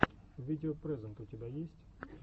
видео прэзэнт у тебя есть